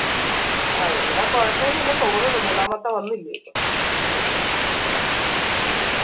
ആ ഇവിട കുഴപ്പൊന്ന് ഇല്ലെന്ന് തോന്നുന്നു മൂന്നാമത്തെ വന്നില്ലേ ഇപ്പം